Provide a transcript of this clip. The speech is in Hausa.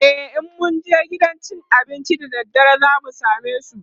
in mun je gidan cin abincin da daddare zamu samesu?